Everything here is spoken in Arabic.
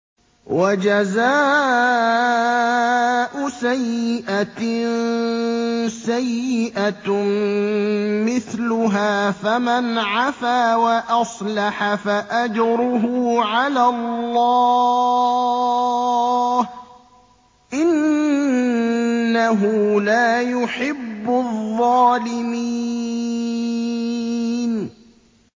وَجَزَاءُ سَيِّئَةٍ سَيِّئَةٌ مِّثْلُهَا ۖ فَمَنْ عَفَا وَأَصْلَحَ فَأَجْرُهُ عَلَى اللَّهِ ۚ إِنَّهُ لَا يُحِبُّ الظَّالِمِينَ